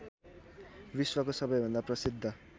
विश्वको सबैभन्दा प्रसिद्ध